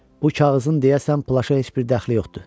Bu kağızın deyəsən plaşa heç bir dəxli yoxdu.